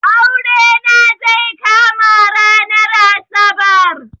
Aure na zai kama ranar asabar